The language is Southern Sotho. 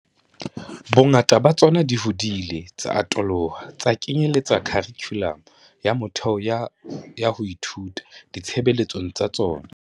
Bongata ba tsona di hodile tsa atoloha tsa kenyeletsa kharikhulamo ya motheo ya ho ithuta di tshebeletsong tsa tsona.